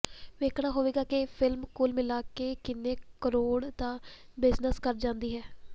ਵੇਖਣਾ ਹੋਏਗਾ ਕਿ ਫਿਲਮ ਕੁੱਲ ਮਿਲਾ ਕੇ ਕਿੰਨੇ ਕਰੋੜ ਦਾ ਬਿਜ਼ਨੈੱਸ ਕਰ ਜਾਂਦੀ ਹੈ